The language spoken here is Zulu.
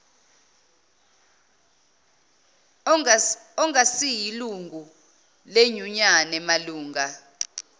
ongasiyilungu lenyunyane malunga